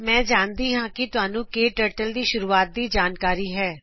ਮੈਂ ਜਾਣਦੀ ਹਾਂ ਕਿ ਤੁਹਾਨੂੰ ਕਟਰਟਲ ਦੀ ਸ਼ੁਰੂਆਤ ਦੀ ਜਾਣਕਾਰੀ ਹੈ